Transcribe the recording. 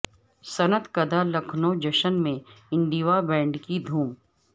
صنعت کدہ لکھنو جشن میں انڈیوا بینڈ کی دھوم